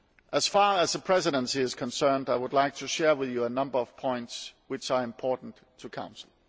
As far as the Presidency is concerned, I would like to share with you a number of points which are important to the Council.